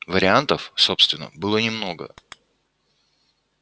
вариантов собственно было немного